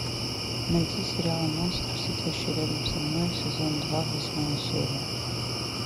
найти сериал монстр сидящий рядом со мной сезон два восьмая серия